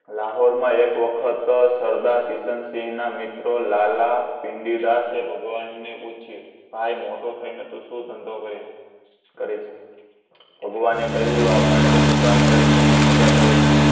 લાહોરમાં એક વખત સરદાર કિશનસિંહના મિત્રો લાલા ભિંડીદાસે ભગવાનને પૂછ્યું. ભાઈ મોટો થઈ ને તું શું ધંધો કરી કરીશ ભગવાને કહ્યું આપણે તો દુકાન કરીશું અને મજા કરીશું